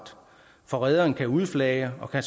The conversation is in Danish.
for rederen kan udflage og